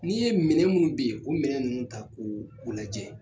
N'i ye minɛ minnu ben o minɛ ninnu ta k'u lajɛ